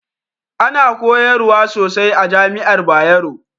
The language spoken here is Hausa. Ana koyarwa sosai a jami'ar Bayero